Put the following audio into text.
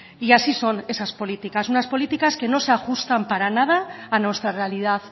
y así son esas políticas unas políticas que no se ajustan para nada a nuestra realidad